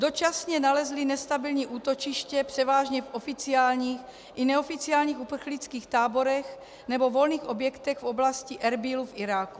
Dočasně nalezli nestabilní útočiště převážně v oficiálních i neoficiálních uprchlických táborech nebo volných objektech v oblasti Erbílu v Iráku.